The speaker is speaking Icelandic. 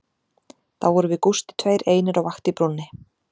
Þá vorum við Gústi tveir einir á vakt í brúnni